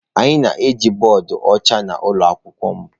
Anyị na-eji bọọdụ ọcha na ụlọ akwụkwọ m.